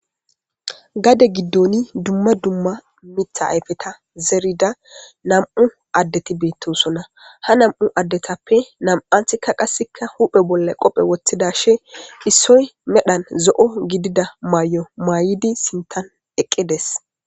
gade giddoni dumma dumma mitha ayfeta zerida nam7u addeti beettosonna ha nam7u addetappe nam7anthikka qasikka huphe bolla qophe woththidashe issoy medhan zo7o gidida may7o maaydi sintan eqqides